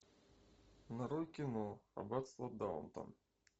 нарой кино аббатство даунтон